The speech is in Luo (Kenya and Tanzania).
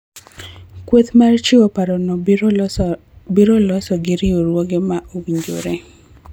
Kweth mar chiwo parono biro loso gi riwruoge ma owinjore